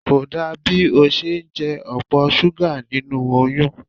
Kò dá bí o ṣe ń jẹ opo súgà nínú oyún.